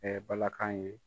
Ɛɛ bala kan ye.